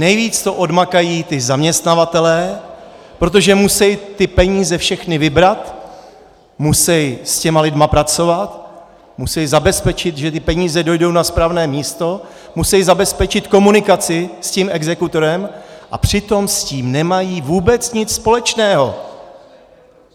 Nejvíc to odmakají ti zaměstnavatelé, protože musí ty peníze všechny vybrat, musí s těmi lidmi pracovat, musí zabezpečit, že ty peníze dojdou na správné místo, musí zabezpečit komunikaci s tím exekutorem, a přitom s tím nemají vůbec nic společného.